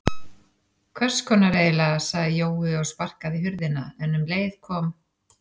Hvess konar eiginlega sagði Jói og sparkaði í hurðina en um leið kom